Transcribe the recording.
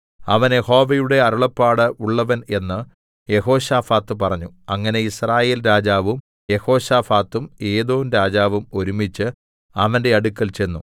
അവൻ യഹോവയുടെ അരുളപ്പാട് ഉള്ളവൻ എന്ന് യെഹോശാഫാത്ത് പറഞ്ഞു അങ്ങനെ യിസ്രായേൽ രാജാവും യെഹോശാഫാത്തും ഏദോംരാജാവും ഒരുമിച്ച് അവന്റെ അടുക്കൽ ചെന്നു